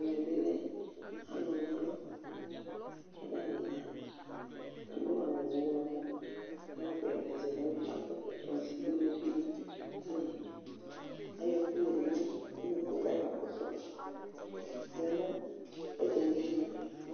Ɛmɛ bɩ lɛ alʋna ɔlʋ kʋ atanɩ ya Adʋ awʋ ɔɣlɔmɔ awʋpɛpɛ zɛ nʋ ɛlʋ kʋ akɔ ɛkɔtɔ ɔsɩ bɩ uluvi bɩ kʋ ayɔ ɛkʋ yǝdu nʋ unuku kʋ akakɔsʋ ya nʋ ɔdzanɩ yɛ ayinu